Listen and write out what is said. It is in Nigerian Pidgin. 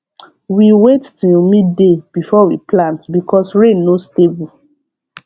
we wait till midmay before we plant because rain no stable